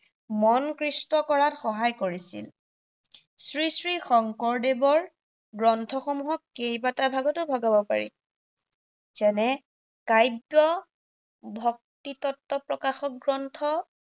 মন কৃষ্ট কৰাত সহায় কৰিছিল। শ্ৰীশ্ৰী শঙ্কৰদেৱৰ গ্ৰন্থসমূহক কেইবাটো ভাগতো ভগাব পাৰি। যেনে কাব্য ভক্তিতত্ত্ব প্ৰকাশক গ্ৰন্থ